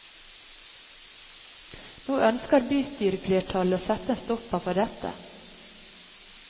Nå ønsker bystyreflertallet å sette en stopper for dette.